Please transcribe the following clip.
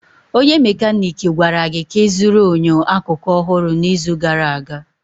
Onye mekaniiki gwara gị ka ịzụrụ enyo akụkụ ọhụrụ n'izu gara aga.